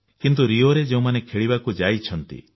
କିନ୍ତୁ ରିଓରେ ଯେଉଁମାନେ ଖେଳିବାକୁ ଯାଇଛନ୍ତି